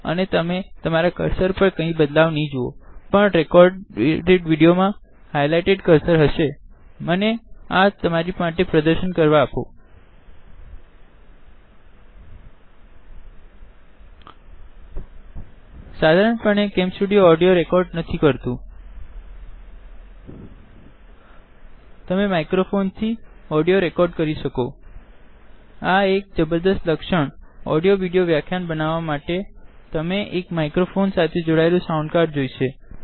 અને તમે તમારા કર્સર પર કઈ બદ્લાવ નઈ જુઓ પણ રેકોડેડ વિડીઓ મા હાઈલાઈટેડ કર્સર હશેમને આ તમારી સાથે સજેશન કરવા આપો સાધારણ પણે કેમ સ્ટુડીઓ ઓડીઓ રેકોડ નથી કરતુંતમે માઈક્રોફોન થી રેકોડ કરી શકો આ એક જબરજસ્ત લ્કક્ષણ ઓડીઓ વિડીઓ વ્યાખ્યાન બનવા માટે તમારી પાસે માઈક્રોફોન સાથે જોડાયેલું એક સાઉન્ડ કાર્ડ જોઇશે